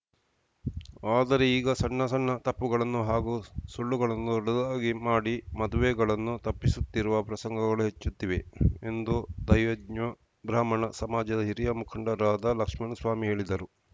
ಆದರೆ ಈಗ ಸಣ್ಣಸಣ್ಣ ತಪ್ಪುಗಳನ್ನು ಹಾಗೂ ಸುಳ್ಳುಗಳನ್ನು ದೊಡ್ಡದಾಗಿ ಮಾಡಿ ಮದುವೆಗಳನ್ನು ತಪ್ಪಿಸುತ್ತಿರುವ ಪ್ರಸಂಗಗಳು ಹೆಚ್ಚುತ್ತಿವೆ ಎಂದು ದೈವಜ್ಞ ಬ್ರಾಹ್ಮಣ ಸಮಾಜದ ಹಿರಿಯ ಮುಖಂಡರಾದ ಲಕ್ಷ್ಮಣ್‌ ಸ್ವಾಮಿ ಹೇಳಿದರು